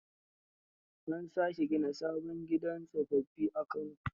An sake gina sabon gidan tsofaffi a Kano.